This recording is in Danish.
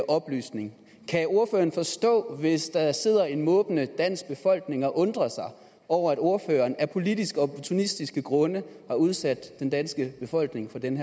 oplysning kan ordføreren forstå hvis der sidder en måbende dansk befolkning og undrer sig over at ordføreren af politiske og opportunistiske grunde har udsat den danske befolkning for den